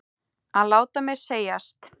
Að láta mér segjast?